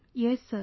Yes sir